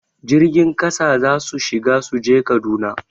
Jirgin ƙasa za su shiga su je Kaduna